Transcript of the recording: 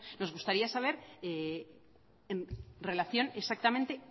nos gustaría saber en relación exactamente